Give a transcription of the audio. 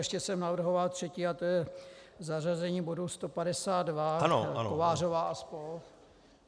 Ještě jsem navrhoval třetí, a to je zařazení bodu 152, Kovářová a spol.